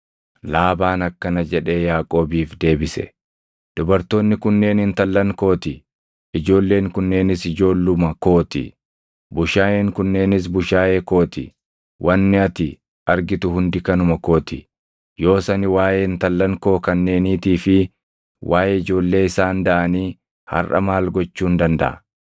Laabaan akkana jedhee Yaaqoobiif deebise; “Dubartoonni kunneen intallan koo ti; ijoolleen kunneenis ijoolluma koo ti; bushaayeen kunneenis bushaayee koo ti. Wanni ati argitu hundi kanuma koo ti. Yoos ani waaʼee intallan koo kanneeniitii fi waaʼee ijoollee isaan daʼanii harʼa maal gochuun dandaʼa?